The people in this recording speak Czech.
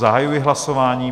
Zahajuji hlasování.